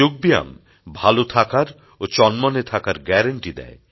যোগব্যায়াম ভালো থাকার ও চনমনে থাকার গ্যারান্টি দেয়